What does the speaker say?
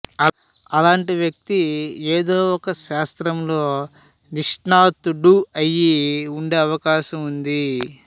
అలాంటి వ్యక్తి ఏదో ఒక శాస్త్రంలో నిష్ణాతుడు అయి ఉండే అవకాశం ఉంది